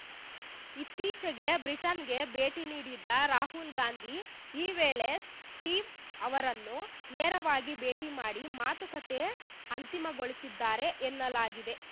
ಇತ್ತೀಚೆಗೆ ಬ್ರಿಟನ್‌ಗೆ ಭೇಟಿ ನೀಡಿದ್ದ ರಾಹುಲ್‌ ಗಾಂಧಿ ಈ ವೇಳೆ ಸ್ಟೀವ್‌ ಅವರನ್ನು ನೇರವಾಗಿ ಭೇಟಿ ಮಾಡಿ ಮಾತುಕತೆ ಅಂತಿಮಗೊಳಿಸಿದ್ದಾರೆ ಎನ್ನಲಾಗಿದೆ